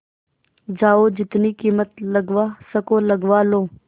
जाओ जितनी कीमत लगवा सको लगवा लो